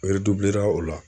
o la